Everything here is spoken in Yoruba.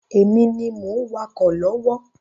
Èmi ni mo ń wakọ̀ lọ́wọ́